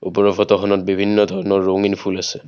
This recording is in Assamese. ওপৰৰ ফটোখনত বিভিন্ন ধৰণৰ ৰঙীন ফুল আছে।